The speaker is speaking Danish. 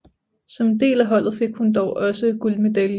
Som en del af holdet fik hun dog også guldmedaljen